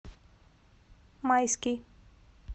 майский